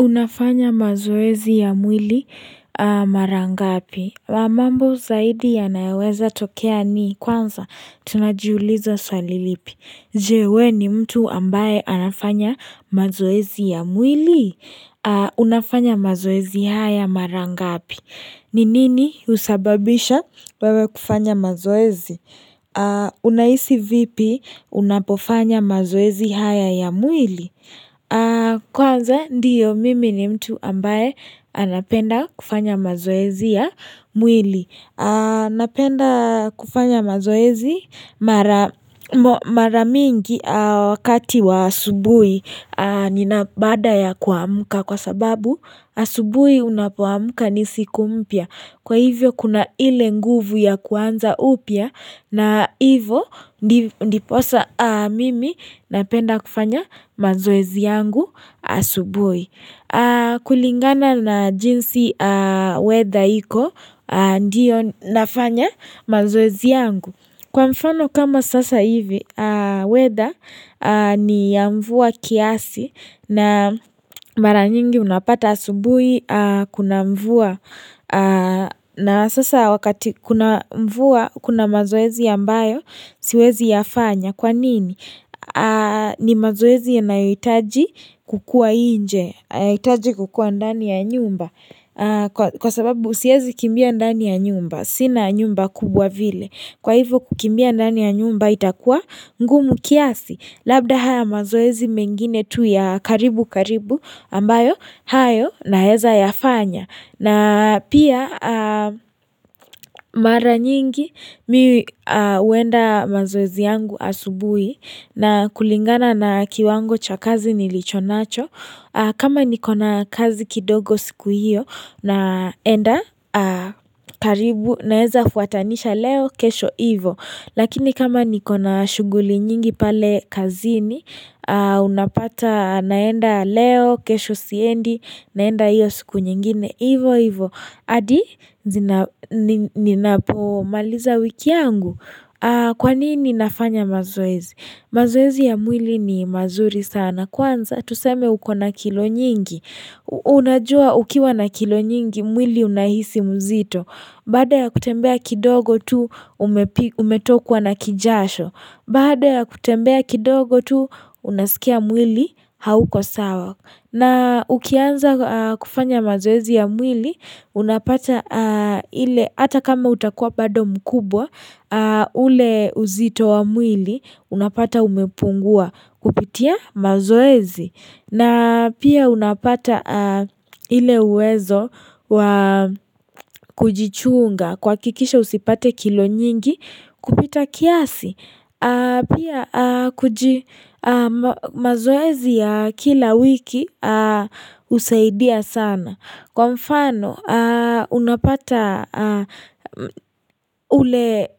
Unafanya mazoezi ya mwili mara ngapi. Mambo zaidi yanayoweza tokea ni kwanza, tunajiuliza swali lipi. Je we ni mtu ambaye anafanya mazoezi ya mwili. Unafanya mazoezi haya mara ngapi. Ni nini husababisha wewe kufanya mazoezi? Unahisi vipi unapofanya mazoezi haya ya mwili? Kwanza ndio mimi ni mtu ambaye anapenda kufanya mazoezi ya mwili anapenda kufanya mazoezi mara mara mingi wakati wa asubuhi nina baada ya kuamka kwa sababu asubuhi unapoamuka ni siku mpya Kwa hivyo kuna ile nguvu ya kuanza upya na hivo ndiposa mimi napenda kufanya mazoezi yangu asubuhi. Kulingana na jinsi weather iko ndio nafanya mazoezi yangu. Kwa mfano kama sasa hivi, weather ni ya mvua kiasi na mara nyingi unapata asubuhi, kuna mvua, na sasa wakati kuna mvua, kuna mazoezi ambayo, siwezi yafanya. Kwa nini? Ni mazoezi yanayitaji kukua nje, haitaji kukua ndani ya nyumba. Kwa sababu siwezi kimbia ndani ya nyumba. Sina nyumba kubwa vile. Kwa hivo kukimbia ndani ya nyumba itakua ngumu kiasi. Labda haya mazoezi mengine tu ya karibu karibu ambayo hayo naweza yafanya. Na pia mara nyingi mimi huenda mazoezi yangu asubuhi na kulingana na kiwango cha kazi nilicho nacho. Kama nikona kazi kidogo siku hiyo naenda karibu naweza fuatanisha leo kesho hivo. Lakini kama nikona shughuli nyingi pale kazini, unapata naenda leo, kesho siendi, naenda hiyo siku nyingine, hivo hivo. Adi, ninapomaliza wiki yangu. Kwa nini nafanya mazoezi? Mazoezi ya mwili ni mazuri sana. Kwanza, tuseme ukona kilo nyingi. Unajua ukiwa na kilo nyingi, mwili unahisi mzito. Baada ya kutembea kidogo tu umetokwa na kijasho. Baada ya kutembea kidogo tu unaskia mwili hauko sawa. Na ukianza kufanya mazoezi ya mwili, unapata ile hata kama utakuwa bado mkubwa, ule uzito wa mwili, unapata umepungua kupitia mazoezi. Na pia unapata ile uwezo wa kujichunga kuhakikisha usipate kilo nyingi kupita kiasi. Pia mazoezi ya kila wiki husaidia sana. Kwa mfano unapata ule